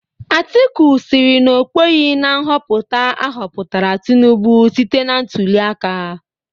Atiku sịrị na okweghi na nhọpụta ahọpụtara Tinubu site na ntuliaka.